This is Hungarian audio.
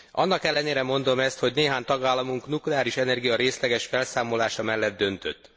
Annak ellenére mondom ezt, hogy néhány tagállamunk a nukleáris energia részleges felszámolása mellett döntött.